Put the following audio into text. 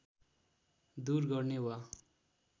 दुर गर्ने वा